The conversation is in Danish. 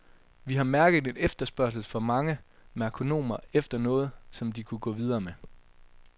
Vi har mærket en efterspørgsel fra mange merkonomer efter noget, som de kunne gå videre med.